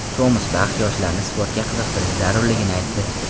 Tomas Bax yoshlarni sportga qiziqtirish zarurligini aytdi.